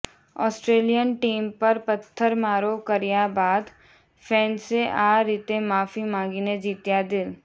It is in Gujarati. ઓસ્ટ્રેલિયન ટીમ પર પથ્થરમારો કર્યા બાદ ફેન્સે આ રીતે માંફી માંગીને જીત્યા દિલ